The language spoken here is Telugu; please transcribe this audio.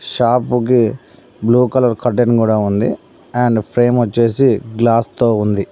షాపుకి బ్లూ కలర్ కర్టెన్ కూడా ఉంది. అండ్ ఫ్రేమ్ వచ్చేసి గ్లాస్ తో ఉంది.